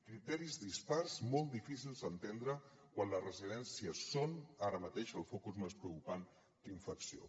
criteris dispars molt difícils d’entendre quan les residències són ara mateix el focus més preocupant d’infecció